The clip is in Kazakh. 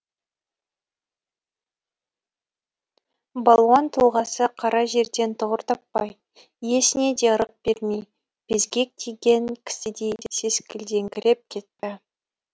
балуан тұлғасы қара жерден тұғыр таппай иесіне де ырық бермей безгек тиген кісідей сескілдеңкіреп кетті